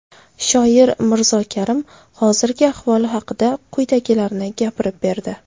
Shoir Mirzo Karim hozirgi ahvoli haqida quyidagilarni gapirib berdi.